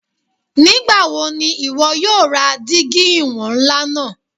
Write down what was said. Nigbawo ni iwọ yoo ra digi iwọn nla naa